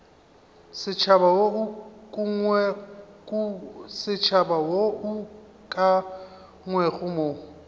setšhaba wo o ukangwego mo